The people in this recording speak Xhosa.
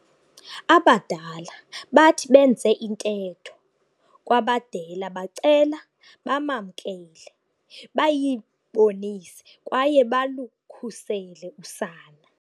Abadala bathi benze intetho kwabadela bacela bamamkele, bayibonise kwaye balukhusele usana.